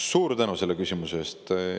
Suur tänu selle küsimuse eest!